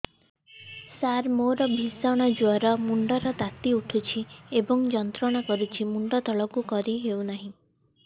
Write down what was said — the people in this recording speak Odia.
ସାର ମୋର ଭୀଷଣ ଜ୍ଵର ମୁଣ୍ଡ ର ତାତି ଉଠୁଛି ଏବଂ ଯନ୍ତ୍ରଣା କରୁଛି ମୁଣ୍ଡ ତଳକୁ କରି ହେଉନାହିଁ